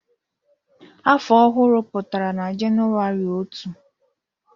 Afọ ọhụrụ pụtara na Jenụwarị otu.